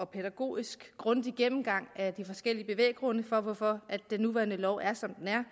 pædagogisk og grundig gennemgang af de forskellige bevæggrunde for hvorfor den nuværende lov er som den er